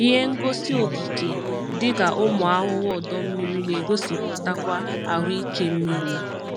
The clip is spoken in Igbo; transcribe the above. Ihe ngosi okike dịka ụmụ ahụhụ ọdọ mmiri na-egosipụtakwa ahụike mmiri.